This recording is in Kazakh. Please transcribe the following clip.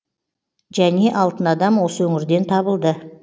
және алтын адам осы өңірден табылды